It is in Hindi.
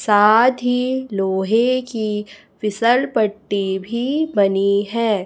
साथ ही लोहे की विशाल पत्ती भी बनी है।